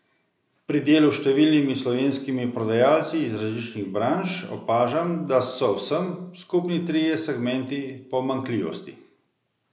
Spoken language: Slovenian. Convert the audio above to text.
Pri delu s številnimi slovenskimi prodajalci iz različnih branž opažam, da so vsem skupni trije segmenti pomanjkljivosti.